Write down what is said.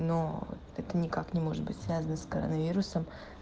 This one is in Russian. но это никак не может быть связано с коронавирусом